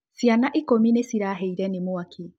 Ciana ikũmi nĩcirahĩire nĩ mwaki